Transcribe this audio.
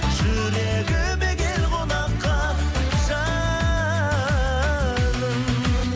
жүрегіме кел қонаққа жаным